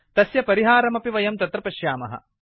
तस्य परिहारमपि वयं तत्र पश्यामः